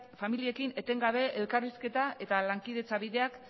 familiekin etengabe elkarrizketa eta lankidetza bideak